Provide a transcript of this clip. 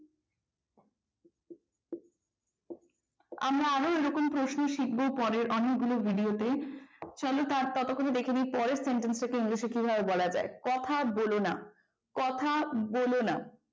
আমরা আরও এরকম প্রশ্ন শিখব পরের ভিডিওতে চলো ততক্ষণে দেখে নি পরের sentence টা কে english কিভাবে বলা যায় কথা বোলো কথা বলো না